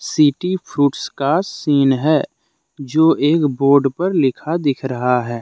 City fruits का scene है जो एक बोर्ड पर लिखा दिख रहा है।